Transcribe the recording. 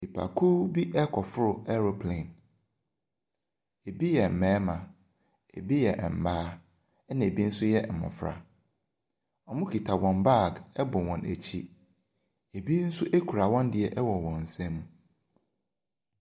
Nnipakuo bi akɔforo aeroplane. Ebi yɛ mmarima, ebi yɛ mmaa, ɛnna bi nso yɛ mmɔfra. Wɔkita wɔn bag bɔ wɔn akyi. Ebi nso kura wɔn deɛ wɔ wɔn nsam.